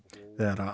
þegar